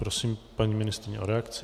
Prosím paní ministryni o reakci.